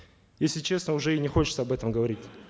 если честно уже и не хочется об этом говорить